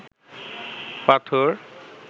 পাথর